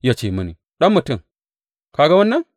Ya ce mini, Ɗan mutum, ka ga wannan?